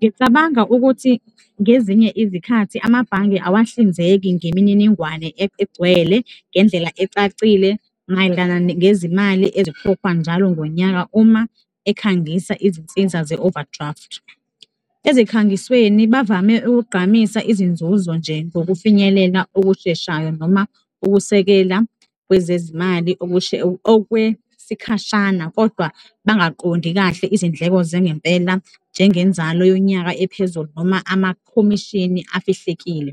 Ngicabanga ukuthi ngezinye izikhathi amabhange awahlinzeki ngemininingwane egcwele ngendlela ecacile mayelana ngezimali ezikhokhwa njalo ngonyaka uma ekhangisa izinsiza ze-overdraft. Ezikhangisweni, bavame ukugqamisa izinzuzo nje ngokufinyelela okusheshayo noma ukusekela kwezezimali okwesikhashana kodwa bangaqondi kahle izindleko zangempela njengenzalo yonyaka ephezulu noma amakhomishini afihlekile.